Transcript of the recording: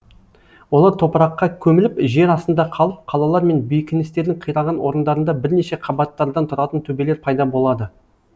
олар топыраққа көміліп жер астында қалып қалалар мен бекіністердің қираған орындарында бірнеше қабаттардан тұратын төбелер пайда болады